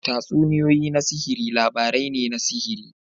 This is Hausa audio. Tatsuniyoyi na sihiri labarai ne na sihiri.